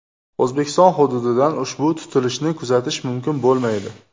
O‘zbekiston hududidan ushbu tutilishni kuzatish mumkin bo‘lmaydi.